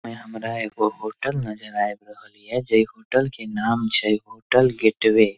यहाँ हमरा एगो होटल नजर आइब रहल ये जे होटल के नाम छै होटल गेटवे --